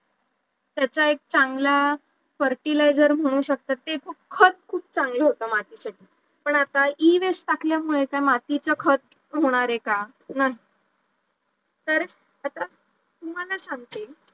त्याचा एक चांगला fertiliser म्हणू शकता ते खूप खत चांगलं होतं माती साठी पण आता Ewaste टाकल्यामुडे त्या मातीच खत होणार आहे का नाही, तर आता तुम्हाला सांगते